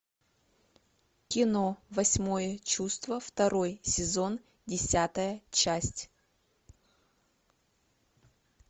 кино восьмое чувство второй сезон десятая часть